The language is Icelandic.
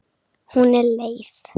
Hún er leið.